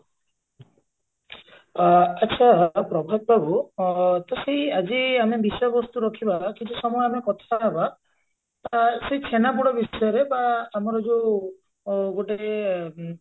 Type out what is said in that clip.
ଆ ଆଛା ପ୍ରଭାତ ବାବୁ ଅ ତ ସେଇ ଆଜି ଆମେ ବିଷୟବସ୍ତୁ ରଖିବା କିଛି ସମୟ ଆମେ କଥା ହବା ଅ ସେଇ ଛେନାପୋଡ ବିଷୟରେ ବା ଆମର ଯଉ ଅ ଗୋଟେ